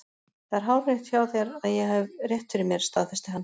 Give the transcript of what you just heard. Það er hárrétt hjá þér að ég hef rétt fyrir mér, staðfesti hann.